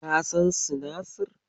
Ka san sinasir?